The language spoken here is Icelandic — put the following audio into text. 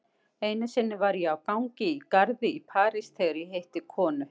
Einu sinni var ég á gangi í garði í París þegar ég hitti konu.